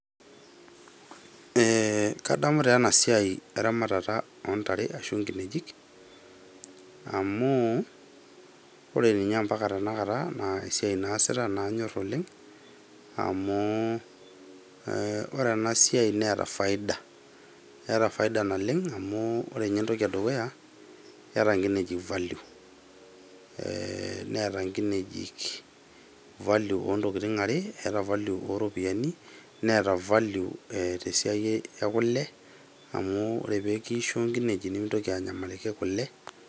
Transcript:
Ee kadamu taa ena siai eramatata ontare ashu nkinejik amu ore ninye ompaka esiai naasita tenakata naa kanyor oleng amu ore ena siai neeta faida. Eeeta faida naleng amu ore entoki edukuya keeta nkinejik value , value, oontokitin are ,value oropiyiani neeta value tesiai ekule amu ore peekisho nkineji nemintoki anyamaliki kule .